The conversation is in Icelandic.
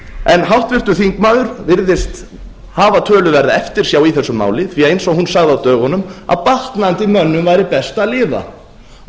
en háttvirtur þingmaður virðist hafa töluverða eftirsjá í þessu máli því að eins og hún sagði á dögunum að batnandi mönnum væri best að lifa og